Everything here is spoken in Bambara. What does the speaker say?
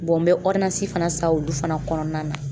n bɛ fana san olu fana kɔnɔna na.